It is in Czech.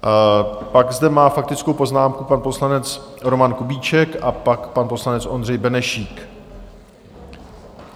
Pak zde má faktickou poznámku pan poslanec Roman Kubíček a pak pan poslanec Ondřej Benešík.